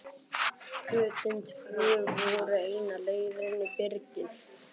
Götin tvö voru eina leiðin inn í byrgið.